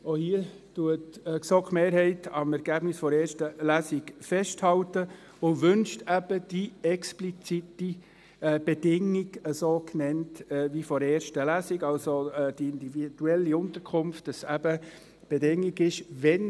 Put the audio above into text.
Auch hier hält die GSoK-Mehrheit am Ergebnis der ersten Lesung fest und wünscht eben die explizite Bedingung so wie in der ersten Lesung genannt, dass also bei der individuellen Unterkunft die Bedingung lautet: